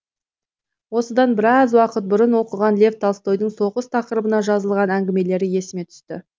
осыдан біраз уақыт бұрын оқыған лев толстойдың соғыс тақырыбына жазылған әңгімелері есіме түсті